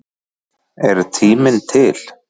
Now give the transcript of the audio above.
Er tíminn til?